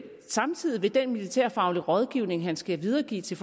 samtidig vil den militærfaglige rådgivning han skal videregive til